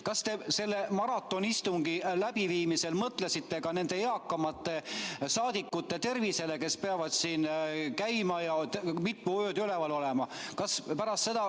Kas te selle maratonistungi läbiviimisel mõtlesite ka nende eakamate rahvasaadikute tervisele, kes peavad siin käima ja mitu ööd üleval olema?